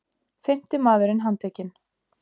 Fimmti maðurinn handtekinn